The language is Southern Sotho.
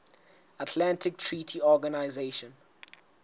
atlantic treaty organization